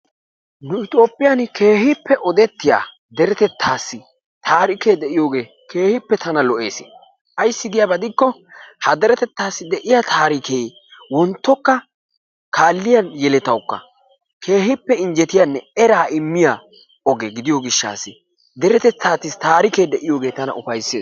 Nu tophphiyan kehippe odettiyaa derettetasi tarikke de'iyogee kehippe tana lo'ees, aysi giyaba gidikko ha derettetasi de'iya tarikke wontokka kaliya yelettawukka kehippe injjetiyanne erraa imiyaa oggee gidiyo gishaas, dertettas tarikke de'iyogee tana ufaysees.